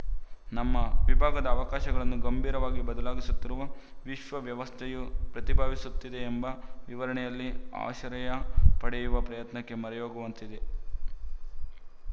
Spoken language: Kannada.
ನಮ್ಮ ವಿಭಾಗದ ಅವಕಾಶಗಳನ್ನು ಗಂಭೀರವಾಗಿ ಬದಲಾಗುತ್ತಿರುವ ವಿಶ್ವ ವ್ಯವಸ್ಥೆಯು ಪ್ರಭಾವಿಸುತ್ತಿದೆಯೆಂಬ ವಿವರಣೆಯಲ್ಲಿ ಆಶರಯ ಪಡೆಯುವ ಪ್ರಯತ್ನಕ್ಕೆ ಮೊರೆಹೋಗುವಂತಿದೆ